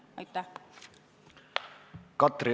Katri Raik, palun!